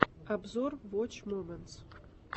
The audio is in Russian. обзор воч моментс